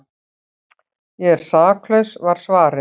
Ég er saklaus var svarið.